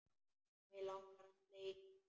Mig langar að sleikja þig.